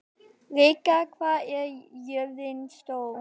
Rikka, hvað er jörðin stór?